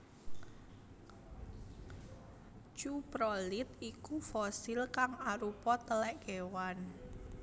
Cuprolit iku fosil kang arupa telek kewan